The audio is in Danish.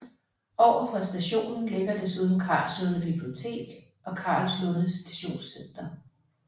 Overfor stationen ligger desuden Karlslunde Bibliotek og Karlslunde Stationscenter